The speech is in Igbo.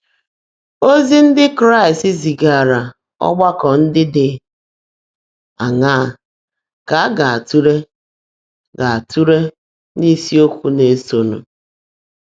Ozi ndị Kraịst zigaara ọgbakọ ndị dị aṅaa ka a ga-atụle ga-atụle n’isiokwu na-esonụ?